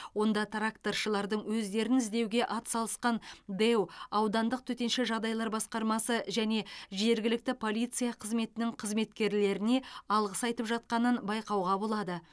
онда тракторшылардың өздерін іздеуге атсалысқан дэу аудандық төтенша жағдайлар басқармасы және жергілікті полиция қызметінің қызметкерлеріне алғыс айтып жатқанын байқауға болады